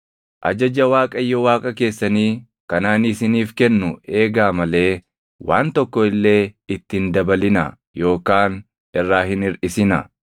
Ajaja Waaqayyo Waaqa keessanii kan ani isiniif kennu eegaa malee waan tokko illee itti hin dabalinaa yookaan irraa hin hirʼisinaa.